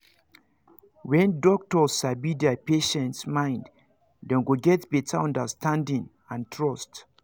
when doctors sabi their patients mind them go get better understanding and trust